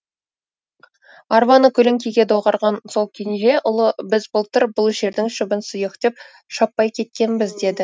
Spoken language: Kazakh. арбаны көлеңкеге доғарған сол кенже ұлы біз былтыр бұл жердің шөбін сұйық деп шаппай кеткенбіз деді